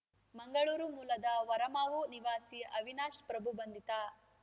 ಮಂಗಳೂರು ಮೂಲದ ಹೊರಮಾವು ನಿವಾಸಿ ಅವಿನಾಶ್‌ ಪ್ರಭು ಬಂಧಿತ